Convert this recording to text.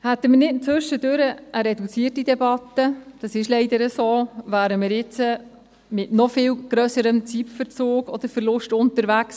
Hätten wir zwischendurch nicht eine reduzierte Debatte – dem ist leider so –, wären wir jetzt mit noch viel grösserem Zeitverzug oder -verlust unterwegs.